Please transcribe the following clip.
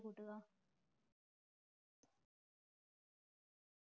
കൂട്ടുക